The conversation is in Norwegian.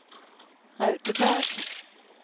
Raudeberg